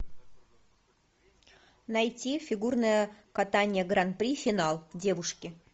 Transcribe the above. найти фигурное катание гран при финал девушки